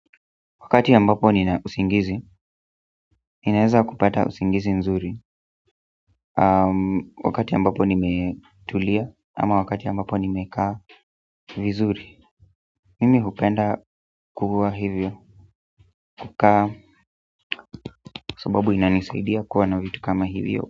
Wakati ambapo nina usingizi, ninaweza kupata usingizi nzuri wakati ambapo nimetulia ama wakati ambapo nimekaa vizuri mimi hupenda kuwa hivyo kukaa sababu inanisaidia kuwa na vitu kama hivyo.